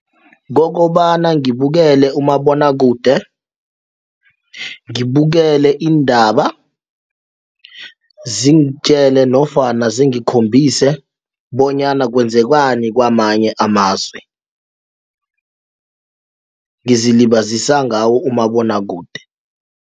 Kokobana ngibukele umabonwakude ngibukele iindaba ziingitjele nofana zingikhombise bonyana kwenzakwani kwamanye amazwe ngizilibazisa ngawo umabonwakude.